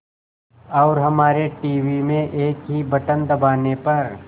और हमारे टीवी में एक ही बटन दबाने पर